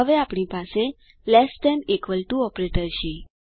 હવે આપણી પાસે less than equal to operator છે